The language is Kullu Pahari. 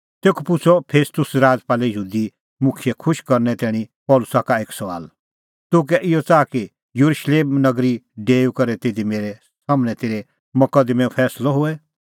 तेखअ पुछ़अ फेस्तुस राजपालै यहूदी मुखियै खुश करने तैणीं पल़सी का एक सुआल तूह कै इहअ च़ाहा कि येरुशलेम नगरी डेऊई करै तिधी मेरै सम्हनै तेरै मकदमैंओ फैंसलअ होए